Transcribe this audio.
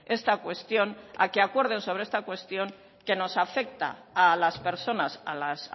esta cuestión a que acuerden sobre esta cuestión que nos afecta a las personas a las